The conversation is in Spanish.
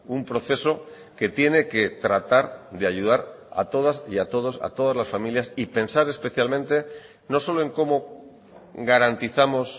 un proceso que tiene que tratar de ayudar a todas y a todos a todas las familias y pensar especialmente no solo en cómo garantizamos